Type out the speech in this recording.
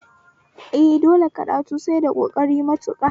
Eh, dole karatu sai da ƙoƙari matuƙa